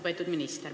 Lugupeetud minister!